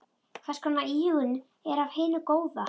Hvers konar íhugun er af hinu góða.